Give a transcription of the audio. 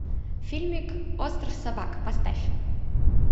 фильмик остров собак поставь